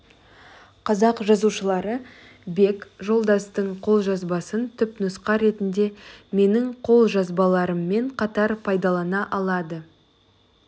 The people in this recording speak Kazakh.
қазақ жазушылары бек жолдастың қолжазбасын түпнұсқа ретінде менің қолжазбаларыммен қатар пайдалана алады